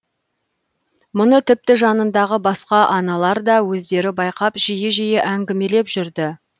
мұны тіпті жанындағы басқа аналар да өздері байқап жиі жиі әңгімелеп жүрді